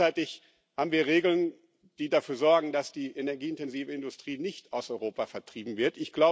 Gleichzeitig haben wir Regeln, die dafür sorgen, dass die energieintensive Industrie nicht aus Europa vertrieben wird.